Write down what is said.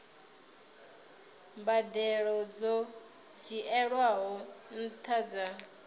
mbadelo dzo dzhielwaho nṱha dza